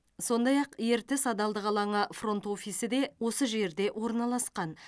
сондай ақ ертіс адалдық алаңы фронт офисі де осы жерде орналасқан